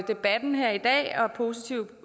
debatten her i dag og positiv